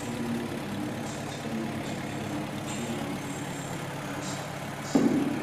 gẹgẹ bí obìnrin náà ṣe sọ ìdàgbàsókè náà mú kí àwọn èèyàn máa ṣàníyàn sí i